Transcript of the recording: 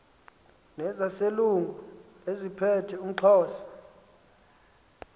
nezaselungu eziphethe umxhosa